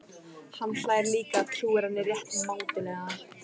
Hann hlær líka, trúir henni rétt mátulega.